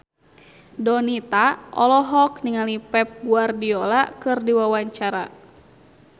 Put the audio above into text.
Donita olohok ningali Pep Guardiola keur diwawancara